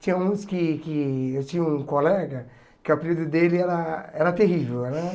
Tinha uns que que... Eu tinha um colega que o apelido dele era era terrível, né?